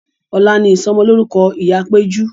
Ọ̀la ni ìsọ'mọlórúkọ ìyá péjú